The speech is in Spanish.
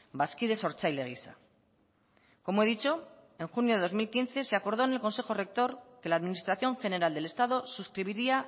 bazkide sortzaile gisa como he dicho en junio de dos mil quince se acordó en el consejo rector que la administración general del estado suscribiría